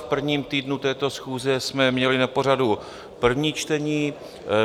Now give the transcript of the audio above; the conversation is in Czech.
V prvním týdnu této schůze jsme měli na pořadu první čtení.